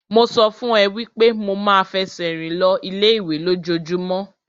Mo sọ fún ẹ wípé mo ma ń fẹsẹ̀ rìn lọ ilé ìwé lójojúmọ́.